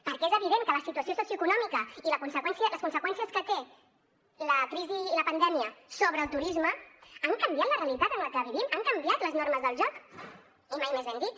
perquè és evident que la situació socioeconòmica i les conseqüències que tenen la crisi i la pandèmia sobre el turisme han canviat la realitat en la que vivim han canviat les normes del joc i mai més ben dit